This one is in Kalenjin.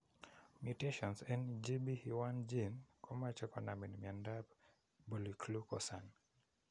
Mutations en GBE1 gene komuche konamin miondap polyglucosan.